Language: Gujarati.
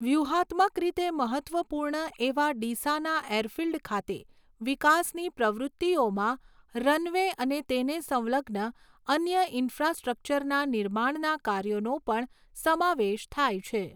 વ્યૂહાત્મક રીતે મહત્ત્વપૂર્ણ એવા ડીસાના એરફિલ્ડ ખાતે વિકાસની પ્રવૃત્તિઓમાં રનવે અને તેને સંલગ્ન અન્ય ઇન્ફ્રાસ્ટ્રક્ચરના નિર્માણના કાર્યોનો પણ સમાવેશ થાય છે.